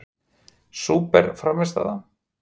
Súper frammistaða?